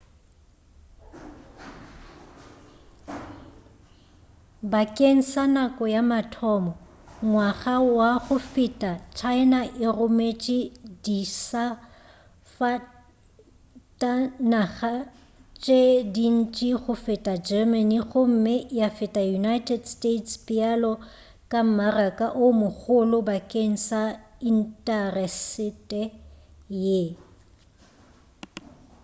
bakeng sa nako ya mathomo ngwaga wa go feta china e rometše disafatanaga tše dintši go feta germany gomme ya feta united states bjalo ka mmaraka o mogolo bakeng sa intasetere ye